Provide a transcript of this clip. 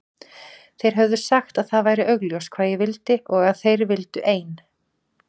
Þeir höfðu sagt að það væri augljóst hvað ég vildi og að þeir vildu ein